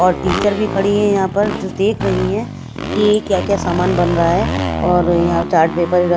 और टीचर भी खड़ी हैं यहां पर जो देख रही हैं कि क्या क्या सामान बन रहा है और यहां चार्ट पेपर व--